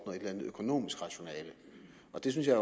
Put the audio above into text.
eller andet økonomisk rationale og det synes jeg